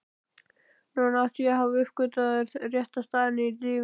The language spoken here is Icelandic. Núna átti ég að hafa uppgötvað rétta staðinn í lífinu.